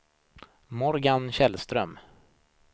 Morgan Källström